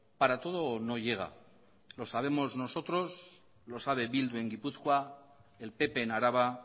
para todo no llega lo sabemos nosotros lo sabe bildu en gipuzkoa el pp en araba